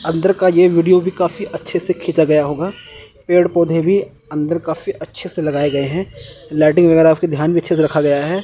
अंदर का ये वीडियो भी काफी अच्छे से खींचा गया होगा पेड़ पौधे भी अंदर काफी अच्छे से लगाए गए हैं लाइटिंग वगैरा भी ध्यान में अच्छे से रखा गया है।